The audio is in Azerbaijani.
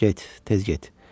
Get, tez get.